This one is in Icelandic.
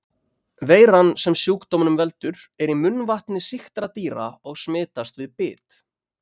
Veiran sem sjúkdómnum veldur er í munnvatni sýktra dýra og smitast við bit.